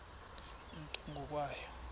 nto ngo kwabo